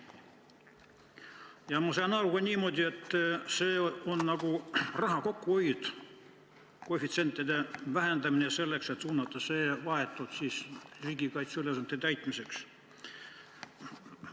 Ja ma saan aru ka niimoodi, et eesmärk on raha kokkuhoid: koefitsiente tahetakse vähendada selleks, et suunata see raha vahetult riigikaitseliste ülesannete täitmiseks.